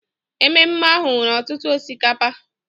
Ememe ahụ nwere ọtụtụ osikapa